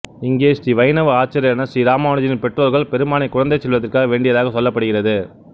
இங்கே ஸ்ரீ வைணவ ஆச்சாரியாரான ஸ்ரீ ராமானுஜரின் பெற்றோர்கள் பெருமாளை குழந்தை செல்வத்திற்காக வேண்டியதாக சொல்லப்படுகிறது